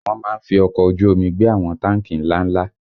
Wọ́n má ń fi ọkọ̀ ojú omi gbé àwọn táǹkì ńlá ńlá